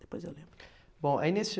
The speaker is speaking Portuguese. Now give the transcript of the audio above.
Depois eu lembro. Bom, aí nesse